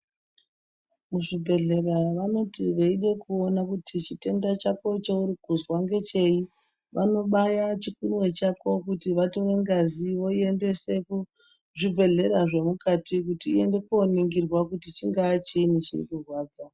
Muzvibhedhlera vanoti veida kuona kuti chitenda chako chaurikuzwa ngechei vanobaya chikunwe chako kuti vaite ngazi voiendese kuzvibhedhlera zvemukati kuti iende koningirwa kuti chingaa chinyi chirikurwadza.